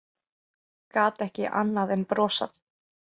Gat ekki annað en brosað.